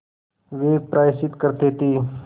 वे प्रायश्चित करते थे